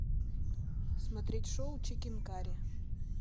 смотреть шоу чикен карри